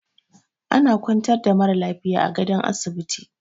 Ana kwantar da mara lafiya a gadon asibiti